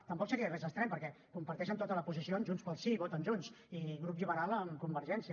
tampoc seria res d’estrany perquè comparteixen tota la posició amb junts pel sí i voten junts i grup liberal amb convergència